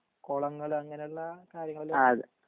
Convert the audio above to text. കോളങ്ങൾ അങ്ങനള്ള കാര്യങ്ങളിലും